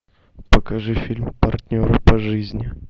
покажи фильм партнеры по жизни